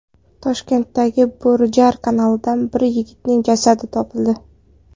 Toshkentdagi Bo‘rijar kanalidan bir yigitning jasadi topildi.